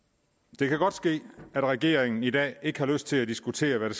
det kan godt ske at regeringen i dag ikke har lyst til at diskutere hvad